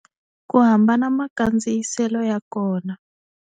Ku hambana makandziyiselo ya kona.